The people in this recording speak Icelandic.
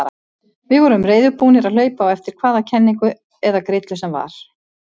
Við vorum reiðubúnir að hlaupa á eftir hvaða kenningu eða grillu sem var.